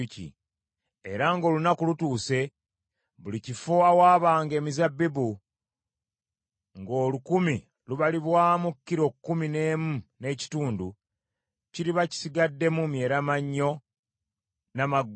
Era ng’olunaku lutuuse, buli kifo awaabanga emizabbibu, ng’olukumi lubalibwamu kilo kkumi n’emu n’ekitundu, kiriba kisigaddemu myeramannyo n’amaggwa.